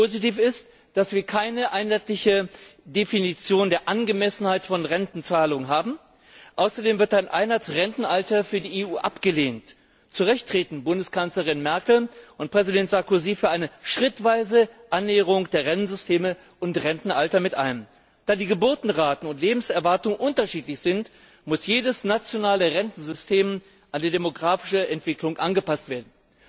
Positiv ist, dass wir keine einheitliche Definition der Angemessenheit von Rentenzahlungen haben. Außerdem wird ein Einheitsrentenalter für die EU abgelehnt. Zu Recht treten Bundeskanzlerin Merkel und Präsident Sarkozy für eine schrittweise Annäherung der Rentensysteme und des Rentenalters ein. Da die Geburtenraten und die Lebenserwartung unterschiedlich sind, muss jedes nationale Rentensystem an die demografische Entwicklung angepasst werden.